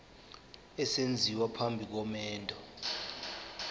esenziwa phambi komendo